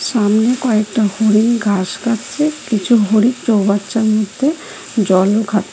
সামনে কয়েকটা হরিণ ঘাস খাচ্ছে কিছু হরিণ চৌবাচ্চার মধ্যে জলও খা --